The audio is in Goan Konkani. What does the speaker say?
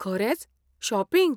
खरेंच? शॉपिंग?